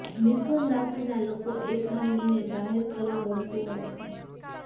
મિથુન રાશિના લોકો એ ખાનગીને જાહેર કરવું ગમતું હોય છે